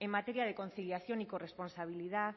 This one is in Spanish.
en materia de conciliación y corresponsabilidad